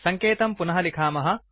सङ्केतं पुनः लिखामः